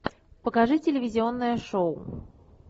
покажи телевизионное шоу